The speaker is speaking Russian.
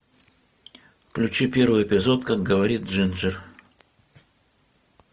включи первый эпизод как говорит джинджер